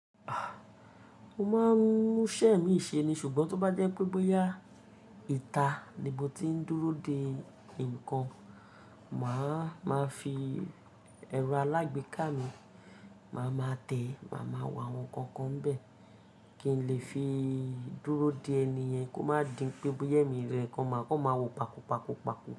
Mo máa ń múṣẹ́ mi ṣe ni ṣùgbọ́n tó bá je pé bóyá ìta ni mo ti ń dúró de ǹkan, màá máa fi ẹrọ alágbèéká mi, màá máa tẹ̀, màá máa wo àwọn nǹkan n bẹ́ẹ̀ kí n lè fi dúró de ẹni yẹn kó má din pé bóya mi rẹ, kó máa wo paku paku paku.